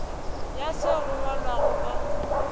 ya seo go ngwalwago ka